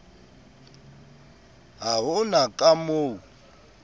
ha ho na ka moo